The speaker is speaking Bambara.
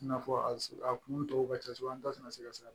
I n'a fɔ a kun tɔw ka ca kosɛbɛ an ta tɛna se ka s'a ma